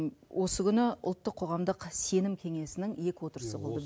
осы күні ұлттық қоғамдық сенім кеңесінің екі отырысы болды